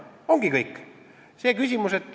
Ongi kõik!